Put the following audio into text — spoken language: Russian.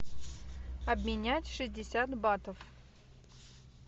обменять шестьдесят батов